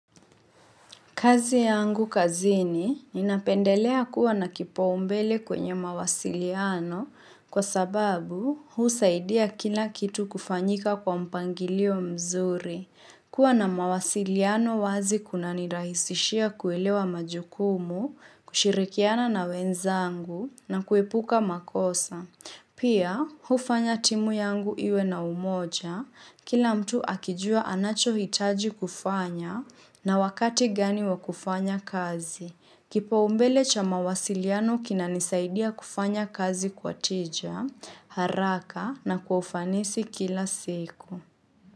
Kazi yangu kazini inapendelea kuwa na kipa umbele kwenye mawasiliano kwa sababu usaidia kila kitu kufanyika kwa mpangilio mzuri. Kwa na mawasiliano wazi kuna nirahisishia kuelewa majukumu, kushirikiana na wenzangu na kuepuka makosa. Pia, hufanya timu yangu iwe na umoja, kila mtu akijua anacho hitaji kufanya na wakati gani wa kufanya kazi. Kipaumbele cha mawasiliano kinanisaidia kufanya kazi kwa tija, haraka na kufanisi kila siku.